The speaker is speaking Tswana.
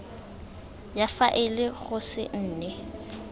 ya faele go se nne